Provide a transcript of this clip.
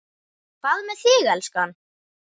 Hvað með þig, elskan.